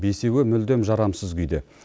бесеуі мүлдем жарамсыз күйде